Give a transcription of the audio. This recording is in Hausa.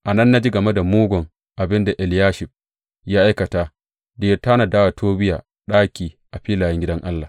A nan na ji game da mugun abin da Eliyashib ya aikata da ya tanada wa Tobiya ɗaki a filayen gidan Allah.